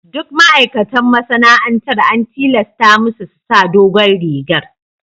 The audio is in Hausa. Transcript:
Duk ma'aikatan masana'antar an tilasta musu su sa dogon rigar.